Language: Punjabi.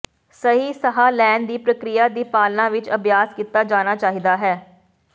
ਸਹੀ ਸਾਹ ਲੈਣ ਦੀ ਪ੍ਰਕਿਰਿਆ ਦੀ ਪਾਲਣਾ ਵਿਚ ਅਭਿਆਸ ਕੀਤਾ ਜਾਣਾ ਚਾਹੀਦਾ ਹੈ